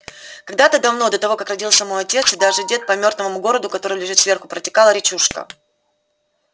когда-то давно до того как родился мой отец и даже дед по мёртвому городу который лежит сверху протекала речушка